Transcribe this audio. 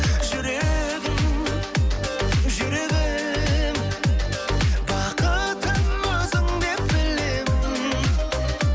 жүрегім жүрегім бақытым өзіңдеп білемін